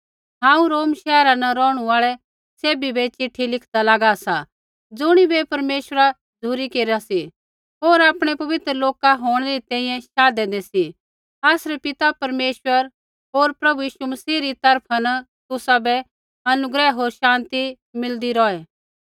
हांऊँ रोम शैहरा न रौहणु आल़ै सैभी बै ऐ चिट्ठी लिखदा लागा सा ज़ुणिबै परमेश्वरा झ़ुरी केरा सी होर आपणै पवित्र लोक होंणै री तैंईंयैं शाधेंदै सी आसरै पिता परमेश्वर होर प्रभु यीशु मसीह री तरफा न तुसाबै अनुग्रह होर शान्ति मिलदी रौहै